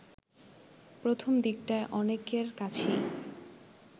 প্রথম দিকটায় অনেকের কাছেই